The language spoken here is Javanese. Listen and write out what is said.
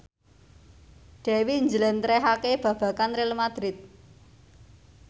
Dewi njlentrehake babagan Real madrid